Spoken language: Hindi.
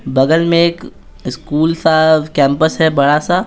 बगल में एक स्कूल सा कैंपस है बड़ा सा।